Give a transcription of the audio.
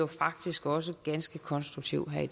faktisk også ganske konstruktiv her i